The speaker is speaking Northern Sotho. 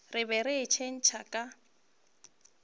re ge ke itshetšha ka